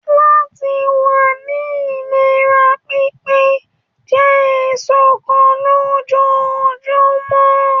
Láti wá ni ìlera pípé, jẹ èso kan lójoojúmọ́.